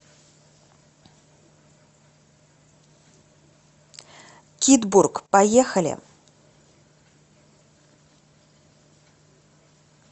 кидбург поехали